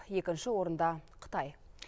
екінші орында қытай